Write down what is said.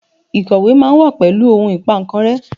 Ikọwe ma wa pẹlu ohun Ìpà kan rẹ́